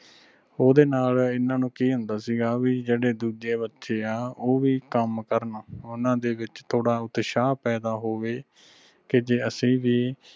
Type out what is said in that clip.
ਓਹਦੇ ਨਾਲ ਐਨਾ ਨੂੰ ਕਿ ਹੁੰਦਾ ਸੀਗਾ ਆ ਵੀ ਜਿਹੜੇ ਦੂਜੇ ਬਚੇ ਆ ਉਹ ਵੀ ਕੰਮ ਕਰਨ ਓਹਨਾ ਦੇ ਵਿਚ ਥੋੜਾ ਉਤਸ਼ਾਹ ਪੈਦਾ ਹੋਵੇ ਤੇ ਜੇ ਅਸੀਂ ਵੀ